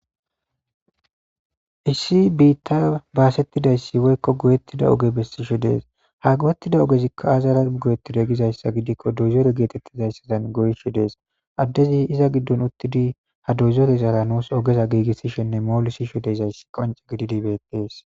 Issi biitta baasettidayssi woykko goyettida oge bessishe dees ha gowettida ogezikka azara goyetide gizayssa gidikko dozore geetettizayssadan goyshi dees addezi iza giddon uttidi ha dozore zara nuus ogeza giigissishenne moolisisho deyzayssi qonce gididibetees